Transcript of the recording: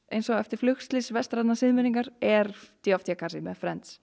eins og eftir flugslys vestrænnar siðmenningar er d v d kassi með